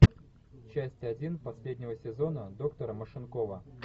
часть один последнего сезона доктора машинкова